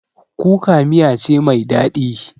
Kuka miya ce mai daɗi